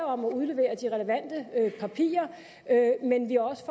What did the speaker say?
om og udleverer de relevante papirer men at vi også